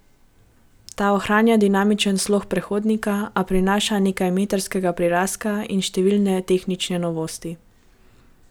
Ta ohranja dinamični slog predhodnika, a prinaša nekaj merskega prirastka in številne tehnične novosti.